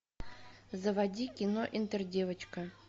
заводи кино интердевочка